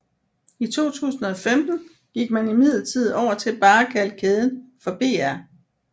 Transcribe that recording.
I 2015 gik man imidlertid over til bare at kalde kæden for BR